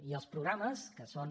i els programes que són